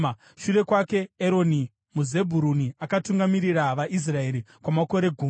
Shure kwake, Eroni muZebhuruni akatungamirira vaIsraeri kwamakore gumi.